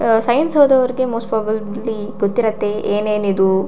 ಅಅ ಸೈನ್ಸ್ ಓದೋರಿಗೆ most probably ಗೊತ್ತಿರತ್ತೆ ಏನ್ ಏನ್ ಇದು--